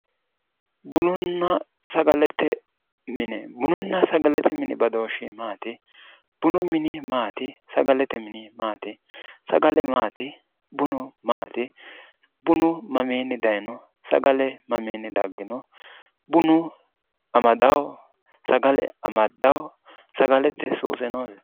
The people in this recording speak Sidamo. bununna sagalete mine bununna sagalete mini badooshshi maati? bunu mini maati? sagalete mini maati? sagale maati bunu maati? bunu mamiinni dayino sagale mamiinni daggino? bunu amadanno sagale amaddanno? sagalete suuse noose?